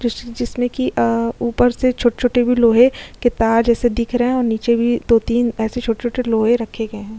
जिसमे की अ ऊपर से छोटे-छोटे भी लोहे के तार जैसे दिख रहे हैं और नीचे भी दो तीन ऐसे छोटे-छोटे लोहे रखे गए हैं।